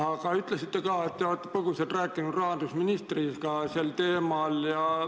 Te ütlesite ka, et te olete põgusalt rääkinud rahandusministriga sel teemal.